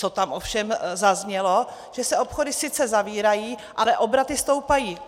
Co tam ovšem zaznělo, že se obchody sice zavírají, ale obraty stoupají.